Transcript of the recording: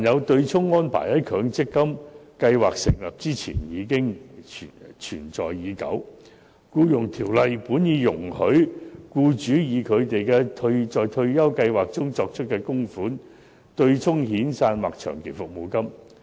對沖安排在強積金計劃成立前存在已久，《僱傭條例》本已容許僱主以他們在退休計劃中作出的供款，對沖遣散費或長期服務金。